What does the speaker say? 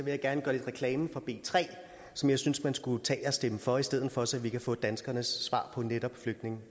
jeg gerne gøre lidt reklame for b tre som jeg synes man skulle tage at stemme for i stedet for så vi kan få danskernes svar på netop flygtninge